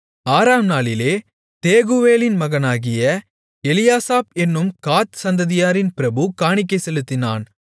ஆறாம் நாளிலே தேகுவேலின் மகனாகிய எலியாசாப் என்னும் காத் சந்ததியாரின் பிரபு காணிக்கை செலுத்தினான்